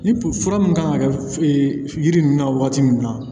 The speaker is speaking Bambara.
Ni fura min kan ka kɛ yiri ninnu na waati min na